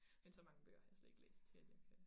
Men så mange bøger har jeg slet ikke læst til at jeg kan